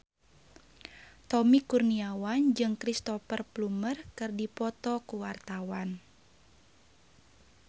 Tommy Kurniawan jeung Cristhoper Plumer keur dipoto ku wartawan